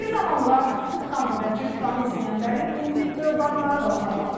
Bir zamanlar Tıq-tıq xanım və Cırtdanı izləyənlərin indi övladları da onlara baxır.